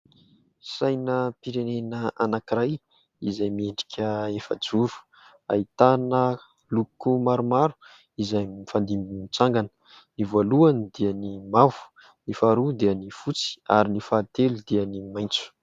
Sainam-pirenena anankiray izay miendrika efajoro. Ahitana loko maromaro izay mifandimby mitsangana, ny voalohany dia ny mavo, ny faharoa dia ny fotsy ary ny fahatelo dia ny maitso.